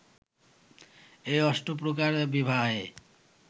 এই অষ্টপ্রকার বিবাহে